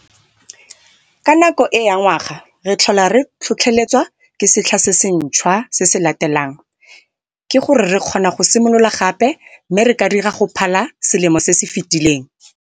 Ka nako e ya ngwaga re tlhola re tlhotlheletswa ke setlha se se ntshwa se se latelang - ke gore re kgona go similola gape mme re ka dira go phala selemo se se fetileng.